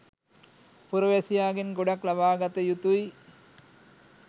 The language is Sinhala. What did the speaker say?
පුරවැසියාගෙන් ගොඩක් ලබාගත යුතුයි